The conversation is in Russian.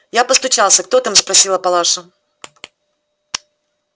я постучался кто там спросила палаша